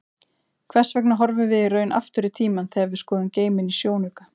Hvers vegna horfum við í raun aftur í tímann þegar við skoðum geiminn í sjónauka?